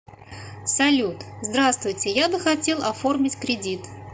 салют здравствуйте я бы хотел оформить кредит